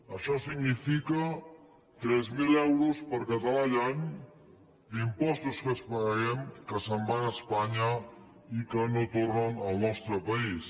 això significa tres mil euros per català i any d’impostos que paguem que se’n van a espanya i que no tornen al nostre país